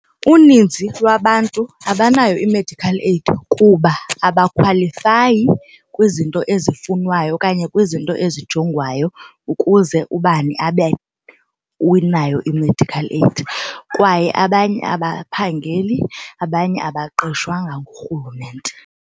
Uninzi lwabantu abanayo i-medical aid kuba abakhwalifayi kwizinto ezifunwayo okanye kwizinto ezijongwayo ukuze ubani abe unayo i-medical aid kwaye abanye abaphangeli abanye abaqeshwanga nguRhulumente.